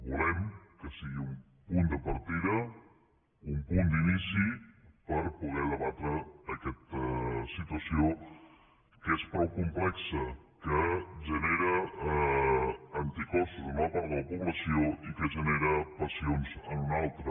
volem que sigui un punt de partida un punt d’inici per poder debatre aquesta situació que és prou complexa que genera anticossos en una part de la població i que genera passions en una altra